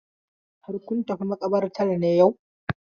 Har kun tafi maƙabartar ne yau?